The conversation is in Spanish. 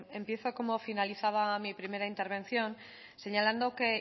empiezo como finalizaba mi primera intervención señalando que